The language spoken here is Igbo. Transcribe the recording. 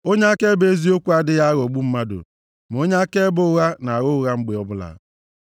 Onye akaebe eziokwu adịghị aghọgbu mmadụ, ma onye akaebe ụgha na-agha ụgha mgbe ọbụla.